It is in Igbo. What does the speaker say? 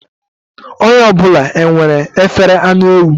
Onye ọ bụla enwere efere anụ ewu?